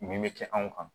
Min bɛ kɛ anw kan